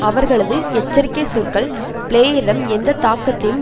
அவர்களது எச்சரிக்கை சொற்கள் பிளேயரிடம் எந்த தாக்கத்தையும்